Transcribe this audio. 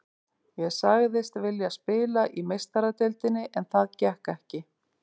Ég sagðist vilja spila í Meistaradeildinni en það gekk ekki.